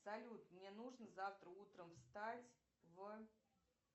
салют мне нужно завтра утром встать в